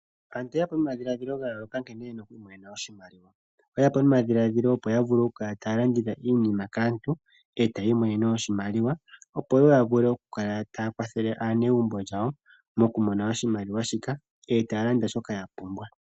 Aantu oyeya po nomadhiladhilo ga yooloka nkene yena okwiimonena oshimaliwa, oye ya po nomadhiladhilo opo ya vule oku kala taya landitha iinima kaantu etaya imonene oshimaliwa, opo ya vule oku kala taya kwathele aanegumbo lyawo mokumona oshimaliwa shika etaya landa shoka ya pumbwa.